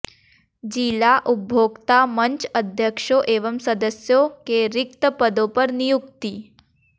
जिला उपभोक्ता मंच अध्यक्षों एवं सदस्यों के रिक्त पदों पर नियुक्ति